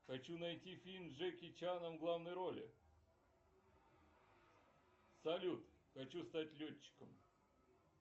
хочу найти фильм с джеки чаном в главной роли салют хочу стать летчиком